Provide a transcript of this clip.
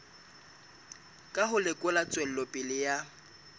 ka ho lekola tswelopele ya